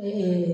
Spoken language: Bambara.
Ne ye